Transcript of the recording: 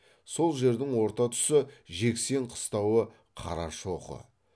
сол жердің орта тұсы жексен қыстауы қарашоқы